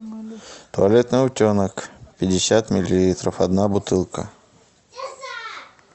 туалетный утенок пятьдесят миллилитров одна бутылка